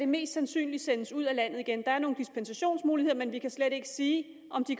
mest sandsynligt sendes ud af landet igen der er nogle dispensationsmuligheder men vi kan slet ikke sige om de